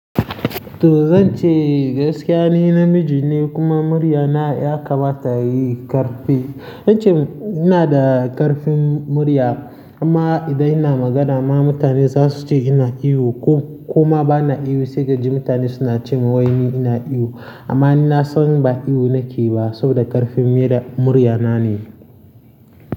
To zan ce gaskiya ni namiji ne kuma murya na ya kamata yayi ƙarfe. Zan ce ina da ƙarfin murya amma idan ina magana ma mutane za su ce ina ihu ko kuma ba na ihu sai kaji mutane suna ce wai ni ina ihu. Amma ni na san ba ihu nake ba saboda ƙarfin murya na ne.